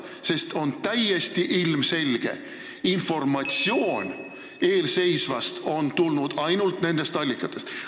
Täiesti ilmselge on, et informatsioon eelseisva kohta on tulnud nendest allikatest.